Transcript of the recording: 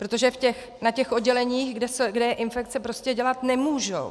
Protože na těch odděleních, kde je infekce, prostě dělat nemohou.